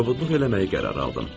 Kobudluq eləməyə qərar aldım.